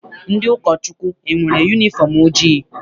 Ndị ụkọchukwu enwere yunifọm ojii?